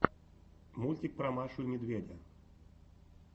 мультик про машу и медведя